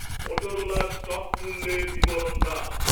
মোটরোলার stock মূল্যের বিবরণ দাও